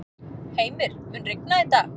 Heimir, mun rigna í dag?